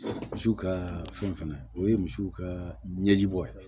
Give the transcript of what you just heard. Misiw kaa fɛn fɛnɛ o ye misiw ka ɲɛji bɔ ye